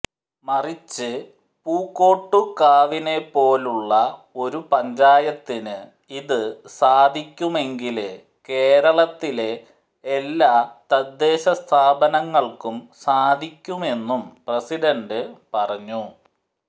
മറിച്ച് പൂക്കോട്ടുകാവിനെപ്പോലുളള ഒരു പഞ്ചായത്തിന് ഇത് സാധിക്കുമെങ്കില് കേരളത്തിലെ എല്ലാ തദ്ദേശ സ്ഥാപനങ്ങള്ക്കും സാധിക്കുമെന്നും പ്രസിഡണ്ട് പറഞ്ഞു